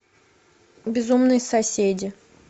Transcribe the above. безумные соседи